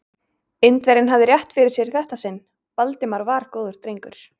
Indverjinn hafði rétt fyrir sér í þetta sinn: Valdimar var góður drengur.